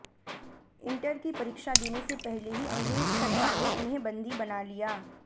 inter की परीक्षा देने से पहले ही अंग्रेज सरकार ने उन्हे बन्दी बना लिया